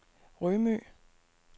Rømø